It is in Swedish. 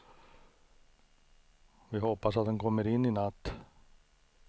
Vi hoppas att den kommer in i natt.